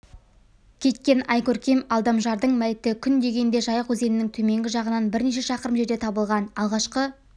кеткен айкөркем алдамжардың мәйіті күн дегенде жайық өзенінің төменгі жағынан бірнеше шақырым жерде табылған алғашқы